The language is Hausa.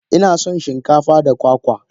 Inasan shin kafa da kwakwa.